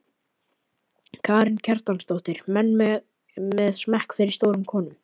Karen Kjartansdóttir: Menn með smekk fyrir stórum konum?